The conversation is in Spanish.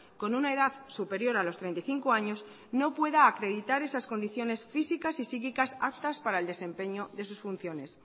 con una edad superior a los treinta y cinco años no pueda acreditar esas condiciones físicas y psíquicas aptas para el desempeño de sus funciones